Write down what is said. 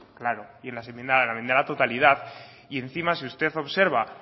claro y en las enmiendas a la totalidad y encima si usted observa